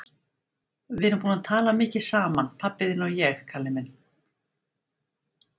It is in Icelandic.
Við erum búin að tala mikið saman, pabbi þinn og ég, Kalli minn.